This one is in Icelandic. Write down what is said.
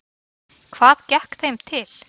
Hvað gekk þeim til?